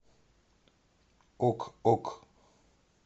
ок ок